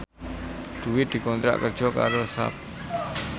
Dewi dikontrak kerja karo Sharp